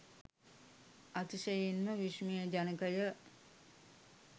අතිශයින් ම විස්මයජනක ය.